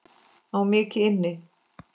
Á mikið inni.